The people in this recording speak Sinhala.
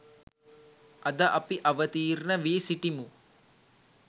අද අපි අවතීර්ණ වී සිටිමු.